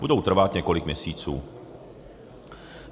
Budou trvat několik měsíců.